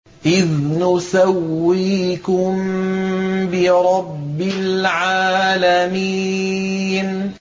إِذْ نُسَوِّيكُم بِرَبِّ الْعَالَمِينَ